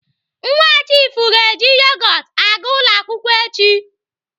Nwa chiifu ga-eji yogot aga ụlọ akwụkwọ echi.